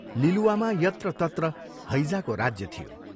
लिलुवामा यत्र तत्र हैजाको राज्य थियो।